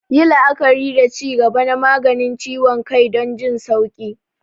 Yi la'akari da ci gaba na maganin ciwon kai don jin sauƙi.